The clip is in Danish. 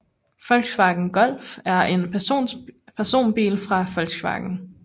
Volkswagen Golf er en personbil fra Volkswagen